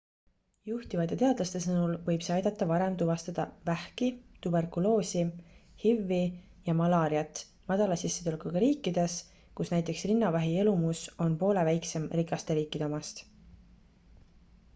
juhtivate teadlaste sõnul võib see aidata varem tuvastada vähki tuberkuloosi hiv-i ja malaariat madala sissetulekuga riikides kus näiteks rinnavähi elumus on poole väiksem rikaste riikide omast